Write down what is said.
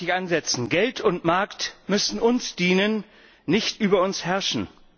Genau da möchte ich ansetzen. Geld und Markt müssen uns dienen, nicht über uns herrschen.